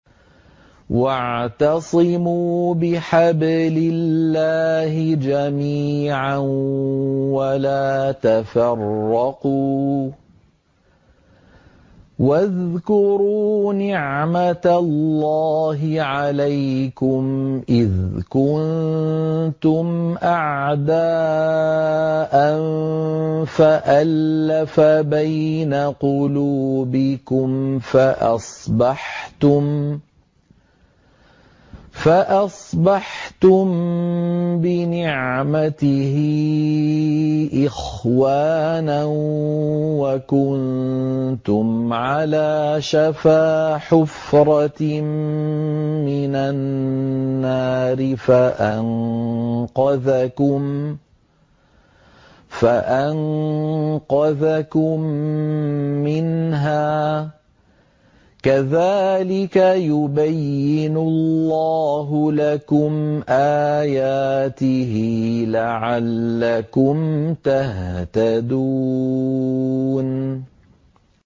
وَاعْتَصِمُوا بِحَبْلِ اللَّهِ جَمِيعًا وَلَا تَفَرَّقُوا ۚ وَاذْكُرُوا نِعْمَتَ اللَّهِ عَلَيْكُمْ إِذْ كُنتُمْ أَعْدَاءً فَأَلَّفَ بَيْنَ قُلُوبِكُمْ فَأَصْبَحْتُم بِنِعْمَتِهِ إِخْوَانًا وَكُنتُمْ عَلَىٰ شَفَا حُفْرَةٍ مِّنَ النَّارِ فَأَنقَذَكُم مِّنْهَا ۗ كَذَٰلِكَ يُبَيِّنُ اللَّهُ لَكُمْ آيَاتِهِ لَعَلَّكُمْ تَهْتَدُونَ